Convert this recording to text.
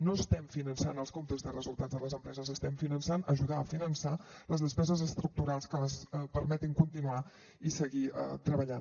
no estem finançant els comptes de resultats de les empreses estem finançant ajudant a finançar les despeses estructurals que els permetin continuar i seguir treballant